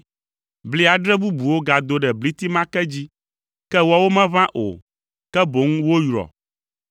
Bli adre bubuwo gado ɖe bliti ma ke dzi, ke woawo meʋã o, ke boŋ woyrɔ.